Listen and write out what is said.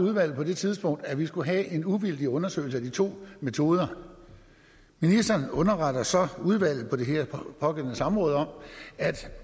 udvalget på det tidspunkt at vi skulle have en uvildig undersøgelse af de to metoder ministeren underretter så udvalget på det pågældende samråd om at